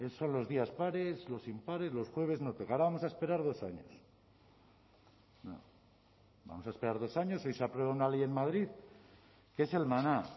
son los días pares los impares los jueves no toca ahora vamos a esperar dos años no vamos a esperar dos años hoy se aprueba una ley en madrid que es el maná